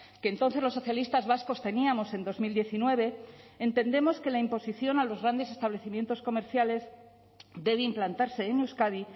que entonces los socialistas vascos teníamos en dos mil diecinueve entendemos que la imposición a los grandes establecimientos comerciales debe implantarse en euskadi